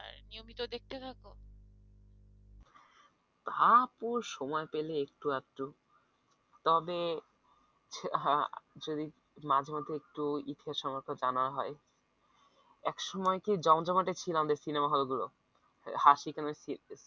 হ্যাঁ আপু সময় পেলে একটু আধটু তবে হ্যাঁ যদি মাঝেমধ্যে একটু জানা হয় একসময় কি জমজমাট ছিল আমাদের সিনেমা হলগুলো হাসি গানের